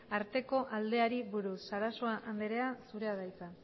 arteko aldeari buruz sarasua andrea zurea da hitza